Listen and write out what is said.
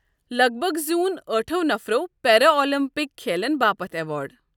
لگ بگ زیوٗن ٲٹھو نفرو پیرالِمپک کھیلن باپت ایوارڑ۔